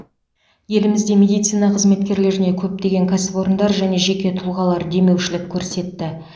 елімізде медицина қызметкерлеріне көптеген кәсіпорындар және жеке тұлғалар демеушілік көрсетті